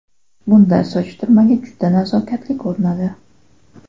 Bunday soch turmagi juda nazokatli ko‘rinadi!